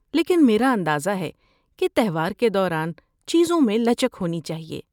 لیکن میرا اندازہ ہے کہ تہوار کے دوران چیزوں میں لچک ہوتی ہے۔